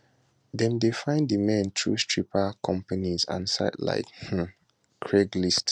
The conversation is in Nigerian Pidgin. dem dey find di men through stripper companies and sites like um craigslist